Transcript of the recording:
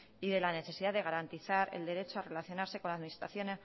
y de la necesidad de garantizar el derecho a relacionarse con la administración